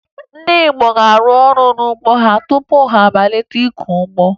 Ndị obodo ga-arụ ọrụ n'ugbo ha tupu ha amalite ịkọ ugbo